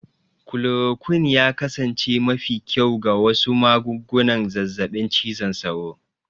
Chloroquine ya kasance mafi kyau ga wasu magungunan zazzabin cizon sauro.